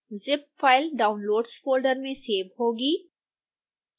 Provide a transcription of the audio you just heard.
zip file downloads folder में save होगी